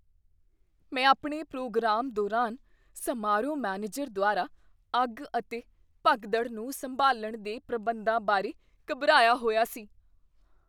ਮੈਂ ਆਪਣੇ ਪ੍ਰੋਗਰਾਮ ਦੌਰਾਨ ਸਮਾਰੋਹ ਮੈਨੇਜਰ ਦੁਆਰਾ ਅੱਗ ਅਤੇ ਭਗਦੜ ਨੂੰ ਸੰਭਾਲਣ ਦੇ ਪ੍ਰਬੰਧਾਂ ਬਾਰੇ ਘਬਰਾਇਆ ਹੋਇਆ ਸੀ।